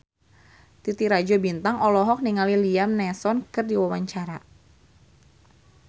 Titi Rajo Bintang olohok ningali Liam Neeson keur diwawancara